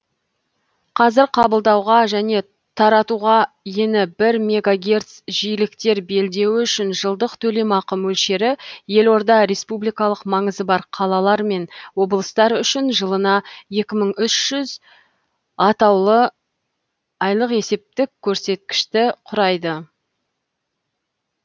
қазір қабылдауға және таратуға ені бір мегагерц жиіліктер белдеуі үшін жылдық төлемақы мөлшері елорда республикалық маңызы бар қалалар мен облыстар үшін жылына екі мың үш жүз айлық есептік көрсеткішті құрайды